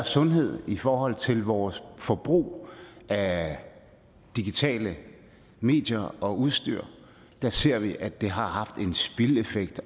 sundhed i forhold til vores forbrug af digitale medier og udstyr ser vi at det har haft en spildeffekt